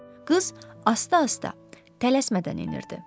Qız asta-asta, tələsmədən enirdi.